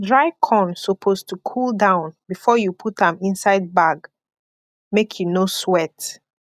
dry corn suppose to cool down before you put am inside bag make e no sweat